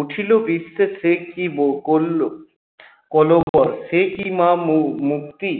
উঠিল বিশ্বে সে কী সে কী মা মুক্তি